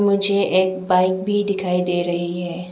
मुझे एक बाइक भी दिखाई दे रही है।